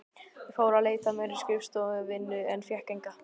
Ég fór að leita mér að skrifstofuvinnu en fékk enga.